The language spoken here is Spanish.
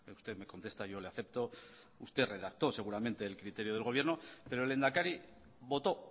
usted me contesta yo le acepto usted redactó seguramente el criterio del gobierno pero el lehendakari votó